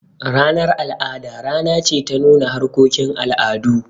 Ranar al'ada rana ce ta nuna harkokin al'adu.